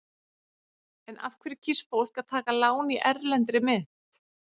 En af hverju kýs fólk að taka lán í erlendri mynt?